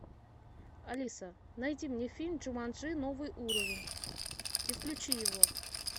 алиса найди мне фильм джуманджи новый уровень и включи его